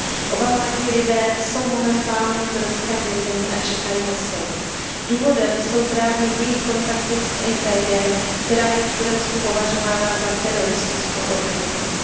Oba mladí lidé jsou momentálně v tureckém vězení a čekají na soud. Důvodem jsou právě jejich kontakty s IPG, která je v Turecku považována za teroristickou organizaci.